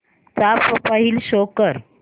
चा profile show कर